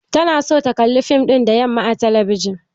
Tana son ta kalli fim ɗin da yamma a talabijin.